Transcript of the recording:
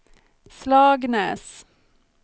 Slagnäs